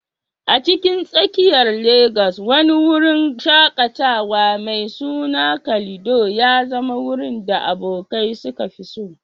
A cikin tsakiyar Legas, wani wurin shaƙatawa mai suna Calido ya zama wurin da abokai suka fi so.